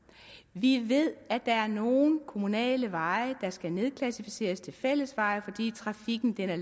vi ved at der er nogle kommunale veje der skal nedklassificeres til fællesveje fordi trafikken har